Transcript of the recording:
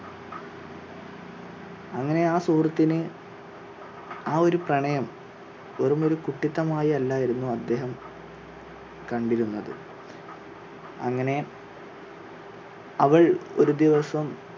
അങ്ങനെ ആ സുഹൃത്തിന് ആ ഒരു പ്രണയം വെറും ഒരു കുട്ടിത്തമായി അല്ലായിരുന്നു അദേഹം കണ്ടിരുന്നത് അങ്ങനെ അവൾ ഒരു ദിവസം